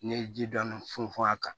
N'i ye ji dɔɔni funfun a kan